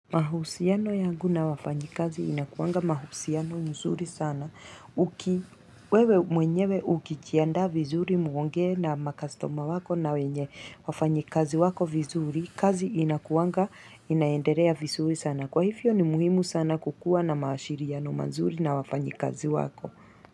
Mahusiano yangu na wafanyikazi inakuwanga mahusiano nzuri sana uki wewe mwenyewe ukijiandaa vizuri muongee na makastoma wako na wenye wafanyikazi wako vizuri kazi inakuwanga inaendelea vizuri sana kwa hivyo ni muhimu sana kukuwa na maashiriano mazuri na wafanyikazi wako.